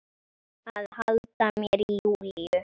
Að halda mér í Júlíu.